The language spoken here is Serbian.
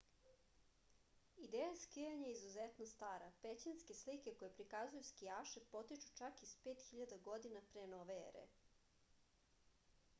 ideja skijanja je izuzetno stara pećinske slike koje prikazuju skijaše potiču čak iz 5000. godine p n e